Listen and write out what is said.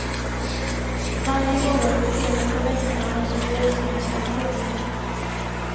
Varje morgon de senaste veckorna har spår synts av lo.